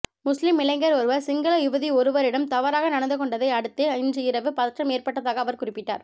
முஸ்லிம் இளைஞர் ஒருவர் சிங்கள யுவதி ஒருவரிடம் தவறாக நடந்துகொண்டதை அடுத்தே இன்று இரவு பதற்றம் ஏற்பட்டதாக அவர் குறிப்பிட்டார்